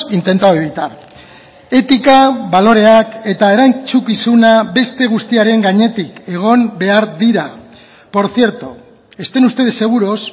intentado evitar etika baloreak eta erantzukizuna beste guztiaren gainetik egon behar dira por cierto estén ustedes seguros